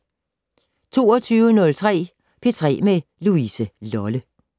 22:03: P3 med Louise Lolle